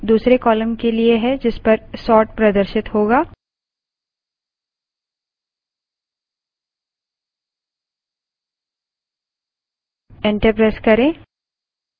hyphen k2 दूसरे column के लिए है जिसपर sort प्रदर्शित होगा